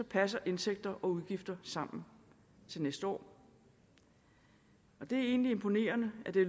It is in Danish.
passer indtægter og udgifter sammen til næste år og det er egentlig imponerende at det